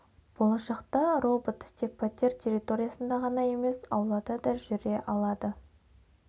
болашақта робот тек пәтер территориясында ғана емес аулада да жүре алады